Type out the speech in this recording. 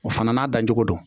O fana n'a dancogo do